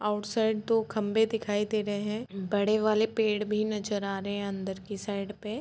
Outside दो खम्भे दिखाई दे रहे हैं। बड़े वाले पेड़ भी नजर आ रहे हैं अंदर की साइड पे ।